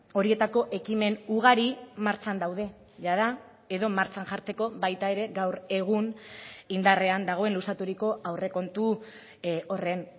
horietako ekimen ugari martxan daude jada edo martxan jartzeko baita ere gaur egun indarrean dagoen luzaturiko aurrekontu horren